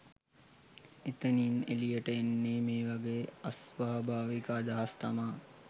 එතනින් එලියට එන්නෙ මේ වගේ අස්වාභාවික අදහස් තමා